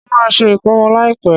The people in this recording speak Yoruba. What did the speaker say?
Mo má se ìkómọ láìpẹ́